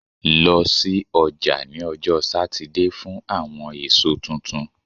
Lọ si ọja ni ọjọ Satidee fun awọn eso tuntun